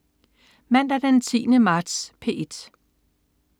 Mandag den 10. marts - P1: